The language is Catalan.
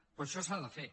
però això s’ha de fer